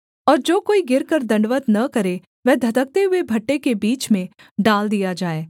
और जो कोई गिरकर दण्डवत् न करे वह धधकते हुए भट्ठे के बीच में डाल दिया जाए